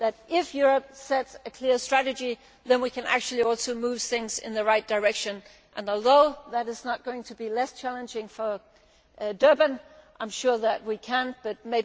If Europe sets a clear strategy, then we can actually move things in the right direction, and although that is not going to be less challenging for Durban, I am sure that we can do this.